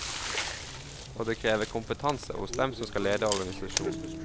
Og det krever kompetanse hos dem som skal lede organisasjonen.